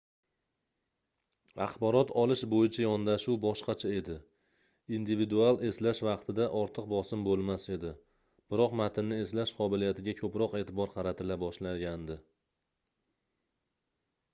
axborot olish boʻyicha yondashuv boshqacha edi individual eslash vaqtida ortiq bosim boʻlmas edi biroq matnni eslash qobiliyatiga koʻproq eʼtibor qaratila boshlagandi